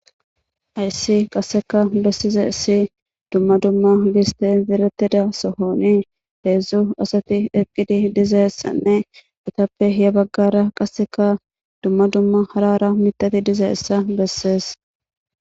Hayssi qasseka besizay issi dumma dumma giiste zeretida sohoni heedzdzu asati eqqidi dizayssanne etappe hiya baggara qasseka dumma dumma hara hara mitati dizayssa bessees.